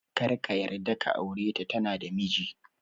Karka yarda ka aure ta, tana da miji